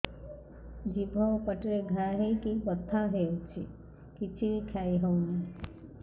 ଜିଭ ଆଉ ପାଟିରେ ଘା ହେଇକି ବଥା ହେଉଛି କିଛି ବି ଖାଇହଉନି